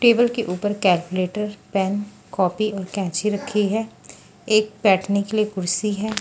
Table के ऊपर calculator pen copy और कैची रखी है एक बैठने के लिए कुर्सी है।